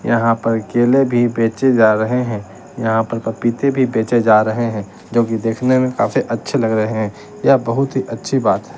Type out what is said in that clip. यहां पर केले भी बेचे जा रहे हैं यहां पर पपीते भी बेचे जा रहे हैं जोकि देखने में काफी अच्छे लग रहे यह बहुत ही अच्छी बात --